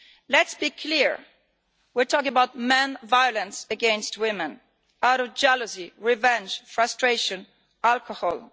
Let us be clear we are talking about men's violence against women out of jealousy, revenge, frustration, alcohol.